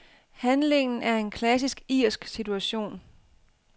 Handlingen er en klassisk irsk situation.